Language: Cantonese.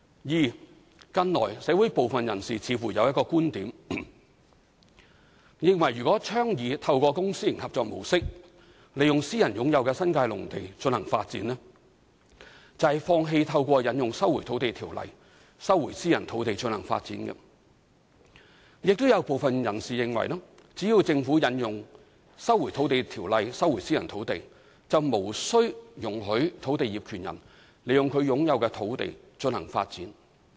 二近來，社會部分人士似乎有一種觀點，認為若倡議透過公私營合作模式利用私人擁有的新界農地進行發展，便是放棄透過引用《收回土地條例》收回私人土地進行發展；亦有部分人士認為只要政府引用《收回土地條例》收回私人土地，便無需容許土地業權人利用其擁有的土地進行發展。